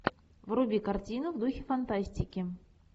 вруби картину в духе фантастики